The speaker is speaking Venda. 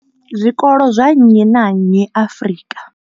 zwikolo zwa nnyi na nnyi Afrika.